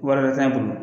Wari wɛrɛ t'a bolo